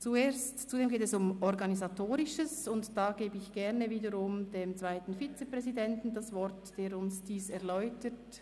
Zuerst geht es um Organisatorisches, und ich gebe dazu gerne wiederum dem zweiten Vizepräsidenten das Wort, der uns dies erläutert.